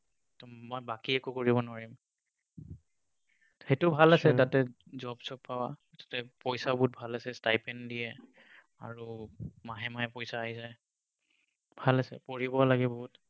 ত মই বাকী একো কৰিব নোৱাৰিম। সেইটো ভাল আছে তাতে, job চব পাবা। তাতে পইছা বহুত ভাল আছে, stipend দিয়ে। আৰু মানে মাহে পইছা আহি যায়। ভাল আছে, পঢ়িব লাগে বহুত।